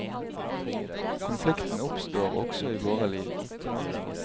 Konflikten oppstår også i våre liv.